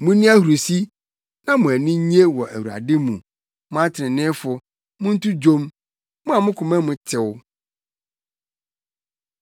Munni ahurusi na mo ani nnye wɔ Awurade mu, mo atreneefo; monto dwom, mo a mo koma mu tew.